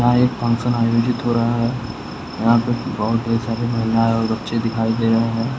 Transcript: यहां एक फंक्शन आयोजित हो रहा है यहां पे बोहुत ढेर सारे महिलाएं और बच्चे दिखाई दे रहे हैं।